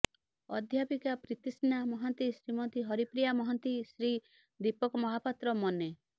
ଅଧ୍ୟାପିକା ପ୍ରୀତିସ୍ନା ମହାନ୍ତିି ଶ୍ରୀମତୀ ହରପ୍ରିୟା ମହାନ୍ତି ଶ୍ରୀ ଦୀପକ ମହାପାତ୍ର ମନେ